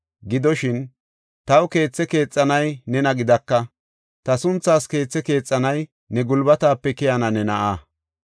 Gidoshin, taw keethe keexanay nena gidaka; ta sunthaas keethe keexanay ne gulbatape keyana ne na7aa.’